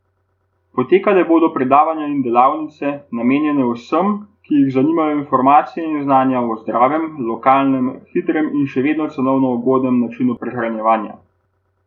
Potekala bodo predavanja in delavnice, namenjene vsem, ki jih zanimajo informacije in znanja o zdravem, lokalnem, hitrem in še vedno cenovno ugodnem načinu prehranjevanja.